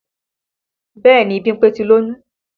Bẹ́ẹ̀ni Bímpé ti lóyún